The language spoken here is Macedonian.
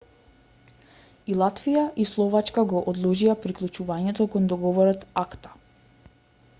и латвија и словачка го одложија приклучувањето кон договорот акта